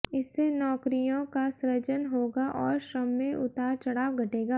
इससे नौकरियों का सृजन होगा और श्रम में उतार चढ़ाव घटेगा